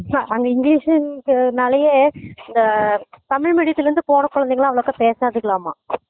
அங்க english குறனாலையே இந்த தமிழ் medium யத்துல இருந்து போன குழந்தைங்கலாம் அவளவா பேசதுகலாம்